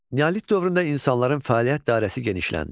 Neolit dövründə insanların fəaliyyət dairəsi genişləndi.